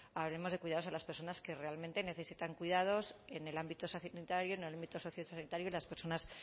hablemos de cuidados a las personas que realmente necesitan cuidados en el ámbito sociosanitario en el ámbito sociosanitario y las personas